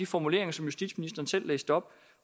formuleringer som justitsministeren selv læste op